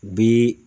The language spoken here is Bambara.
Bi